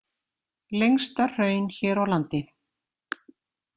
Lengsta hraun hér á landi.